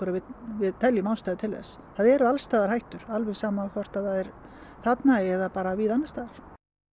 að við teljum ástæðu til þess það eru alls staðar hættur alveg sama hvort þarna eða bara víða annars staðar